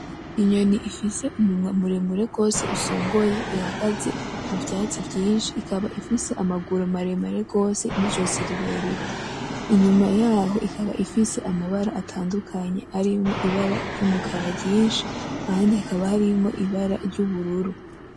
Inyoni ifise umunwa muremure gose usongoye ihagaze muvyatsi vyinshi ikaba ifise amaguru maremare cane gose nijosi rirerire inyuma yaho ikaba ifise amabara atandukanye arimwo ibara ryumukara ryinshi ahandi hakaba harimwo ibara ryubururu